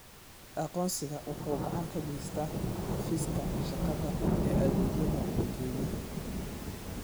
Aqoonsigu waxa uu gacan ka geystaa xafiiska shaqada ee adeegyada dadweynaha.